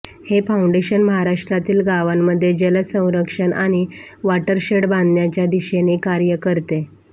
हे फाउंडेशन महाराष्ट्रातील गावांमध्ये जल संरक्षण आणि वाटरशेड बांधण्याच्या दिशेने कार्य करते